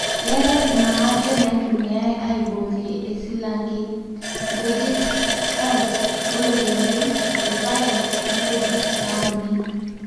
keetae naaje naitumiai aioborie e silange:nkujit, oats, oloikembe, ilpaek o nkijuit nauni